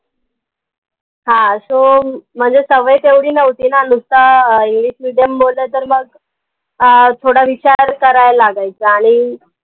हां so म्हनजे सवय तेवढी नव्हती ना नुस्ता आह english medium बोललं तर मग आह थोडा विचार करावं लागायचा आणि